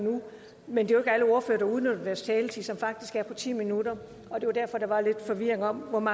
men det er alle ordførere der udnytter deres taletid som faktisk er på ti minutter det var derfor der var lidt forvirring om om